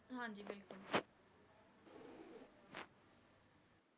ਹਾਂਜੀ ਬਿਲਕੁਲ